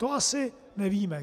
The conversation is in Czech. To asi nevíme.